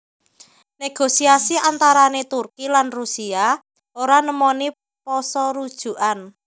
Negosiasi antarané Turki lan Rusia ora nemoni pasarujukan